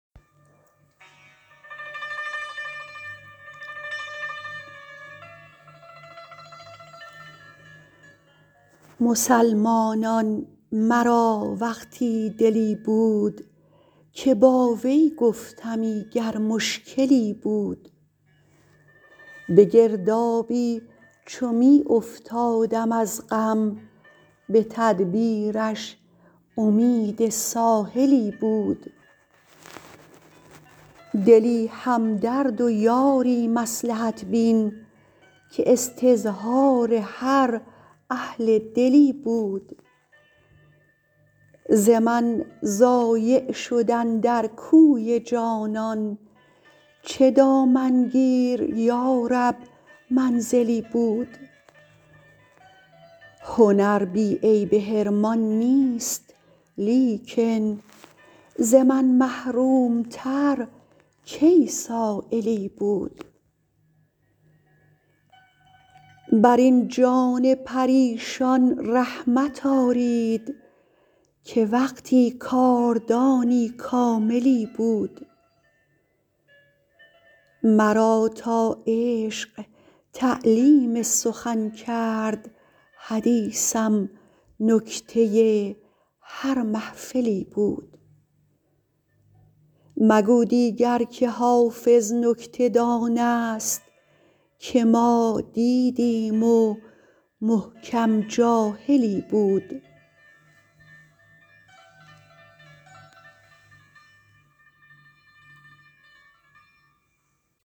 مسلمانان مرا وقتی دلی بود که با وی گفتمی گر مشکلی بود به گردابی چو می افتادم از غم به تدبیرش امید ساحلی بود دلی همدرد و یاری مصلحت بین که استظهار هر اهل دلی بود ز من ضایع شد اندر کوی جانان چه دامنگیر یا رب منزلی بود هنر بی عیب حرمان نیست لیکن ز من محروم تر کی سایلی بود بر این جان پریشان رحمت آرید که وقتی کاردانی کاملی بود مرا تا عشق تعلیم سخن کرد حدیثم نکته هر محفلی بود مگو دیگر که حافظ نکته دان است که ما دیدیم و محکم جاهلی بود